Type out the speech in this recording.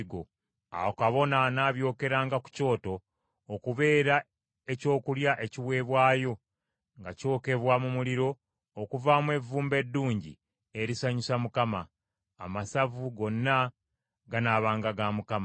Awo kabona anaabyokeranga ku kyoto okubeera ekyokulya ekiweebwayo nga kyokebwa mu muliro okuvaamu evvumbe eddungi erisanyusa Mukama . Amasavu gonna ganaabanga ga Mukama .